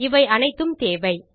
இவை அனைத்தும் தேவை